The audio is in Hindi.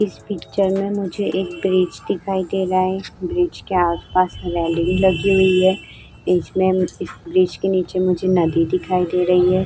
इस पिक्चर में मुझे एक ब्रिज दिखाई दे रहा है। ब्रिज के आस-पास रेलिंग लगी हुई है। इसमें ब्रिज के नीचे मुझे नदी दिखाई दे रही है।